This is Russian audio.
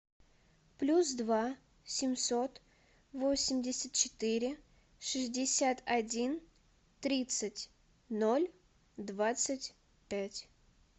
плюс два семьсот восемьдесят четыре шестьдесят один тридцать ноль двадцать пять